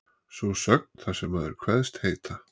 Sú sögn, þar sem maður kveðst heita